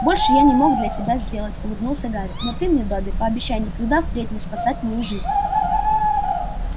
больше я не мог для тебя сделать улыбнулся гарри но ты мне добби пообещай никогда впредь не спасать мою жизнь